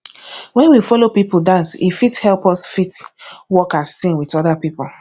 when we follow pipo dance e fit help us fit work as team with oda pipo